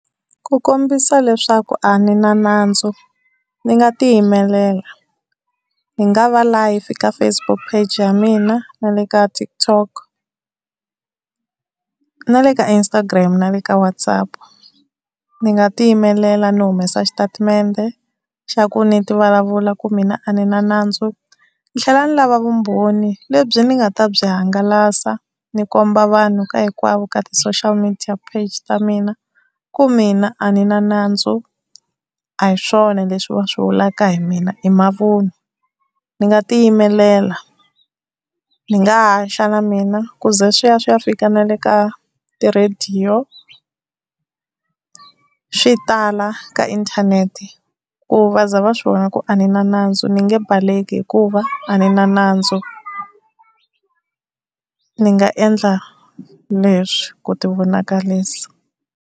Ku kombisa leswaku a ni na nandzu ni nga tiyimelela, ni nga va live ka Facebook pheji ya mina, na le ka TikTok na le ka Instagram na le ka WhatsApp. Ni nga tiyimelela ni humesa xitatimende xa ku ni ti vulavula ku mina a ni na nandzu, ni tlhela ni lava vumbhoni lebyi ni nga ta byi hangalasa ni komba vanhu ka hinkwavo ka ti-social media heji ta mina ku mina a ni na nandzu a hi swona leswi va swi vulaka hi mina i mavun'wa. Ni nga ti yimelela ni nga haxa na mina ku ze swi ya swi ya fika nale ka ti-radio swi tala ka inthanete ku va za va swi vona ku a ni na nandzu ni nge baleki hikuva a ni na nandzu ni nga endla leswi ku ti vonakarisa.